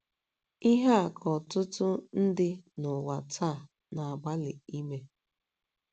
Ihe a ka ọtụtụ ndị n’ụwa taa na - agbalị ime.